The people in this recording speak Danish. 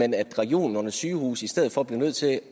at regionernes sygehuse i stedet for blev nødt til